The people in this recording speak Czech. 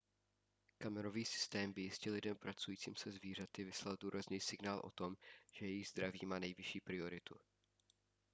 kamerový systém by jistě lidem pracujícím se zvířaty vyslal důrazný signál o tom že jejich zdraví má nejvyšší prioritu